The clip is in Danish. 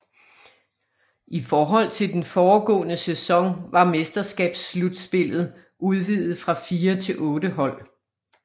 I forhold til den foregående sæson var mesterskabsslutspillet udvidet fra fire til otte hold